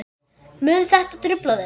Mun þetta trufla mig?